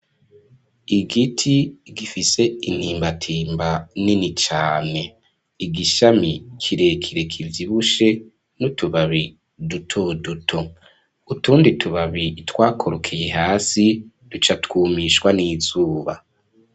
Igiti gifise intimbatimba nini cane igishami kirekire kivyibushe n'utubabi dutoduto utundi tubabi twakorokeye hasi ducatwumishwa n'izuba.